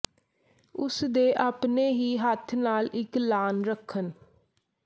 ਉਸ ਦੇ ਆਪਣੇ ਹੀ ਹੱਥ ਨਾਲ ਇੱਕ ਲਾਅਨ ਰੱਖਣ